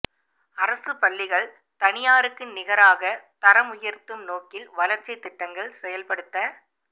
அரசு பள்ளிகள் தனியாருக்கு நிகராக தரம் உயர்த்தும் நோக்கில் வளர்ச்சி திட்டங்கள் செயல்படுத்த